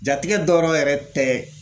Jatigɛ dɔrɔ yɛrɛ tɛ